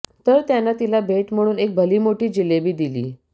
तर त्यानं तिला भेट म्हणून एक भलीमोठी जिलेबी दिली